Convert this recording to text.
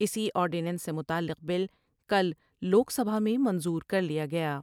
اسی آرڈینس سے متعلق بل کل لوک سبھا میں منظور کر لیا گیا ۔